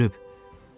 Molak ölüb.